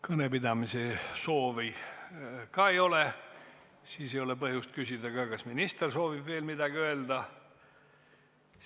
Kõnepidamise soovi ei ole ja nii ei ole ka põhjust küsida, kas minister soovib veel midagi öelda.